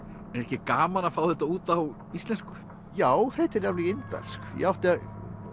ekki gaman að fá þetta út á íslensku já þetta er alveg indælt ég átti